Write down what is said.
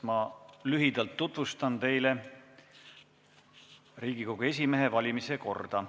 Ma lühidalt tutvustan teile Riigikogu esimehe valimise korda.